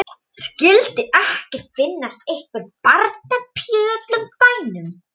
Skyldi ekki finnast einhver barnapía í öllum bænum.